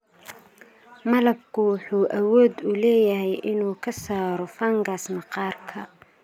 Malabku wuxuu awood u leeyahay inuu ka saaro fungus maqaarka.